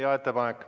Hea ettepanek.